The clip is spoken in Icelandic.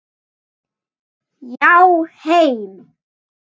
Já, heim.